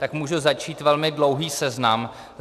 Tak můžu začít velmi dlouhým seznamem.